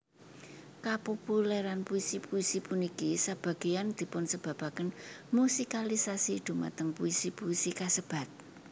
Kapopulèran puisi puisi puniki sebagéyan dipunsebabaken musikalisasi dhumateng puisi puisi kasebat